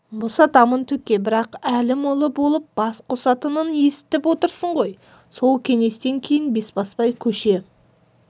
босатамын төке бірақ әлім ұлы болып бас қосатынын естіп отырсың ғой сол кеңестен кейін бесбасбай көше